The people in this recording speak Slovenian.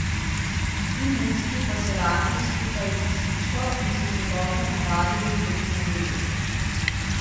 Ti mucki pa so rasli skupaj s psičko in so se dobro navadili drug na drugega.